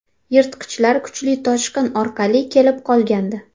Yirtqichlar kuchli toshqin orqali kelib qolgandi.